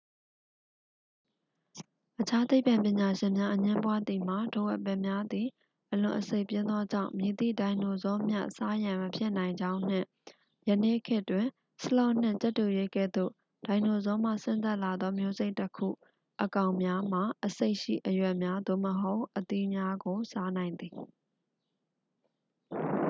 အခြားသိပ္ပံပညာရှင်များအငြင်းပွားသည်မှာ ထိုအပင်များသည် အလွန် အဆိပ်ပြင်းသောကြောင့် မည်သည့်ဒိုင်နိုဆောမျှ စားရန်မဖြစ်နိုင်ကြောင်းနှင့် ယနေ့ခေတ်တွင် ဆလော့နှင့် ကြက်တူရွေးကဲ့သို့ ဒိုင်နိုဆောမှဆင်းသက်လာသော မျိုးစိတ်တစ်ခု အကောင်များမှာ အဆိပ်ရှိ အရွက်များသို့မဟုတ် အသီးများကို စားနိုင်သည်။